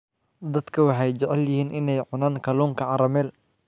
Dadku waxay jecel yihiin inay cunaan kalluunka caramel.